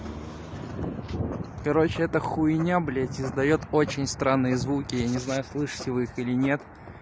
короче эта хуйня блядь издаёт очень странные звуки я не знаю слышите вы их или нет